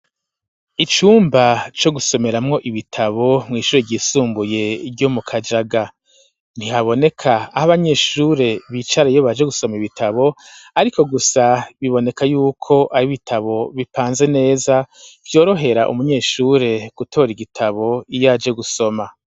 cumba co gusomeramwo ibitabo mw'ishure ryisumbuye ryo mu Kajaga ntihaboneka aho abanyeshure bicara iyo baje gusoma ibitabo ariko gusa biboneka yuko ari ibitabo bipanze neza vyorohera umunyeshure gutora igitabo iyaje gusoma